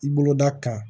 I boloda kan